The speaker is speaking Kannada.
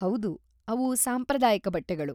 ಹೌದು, ಅವು ಸಾಂಪ್ರದಾಯಿಕ ಬಟ್ಟೆಗಳು.